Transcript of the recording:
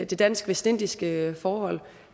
det dansk vestindiske forhold